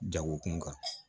Jagokun kan